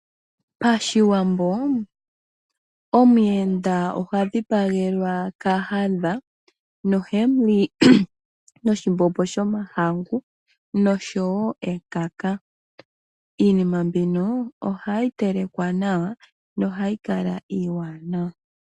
Pashiwambo omuyenda ohadhi pagelwa kakadha nohemuli noshimbombo shomahangu nosho woo ekaka. Iinima mbika ohayi telekwa nawa nohayi kala ewanawa